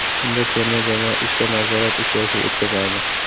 Unda terma jamoa uchta nazorat uchrashuv o‘tkazadi.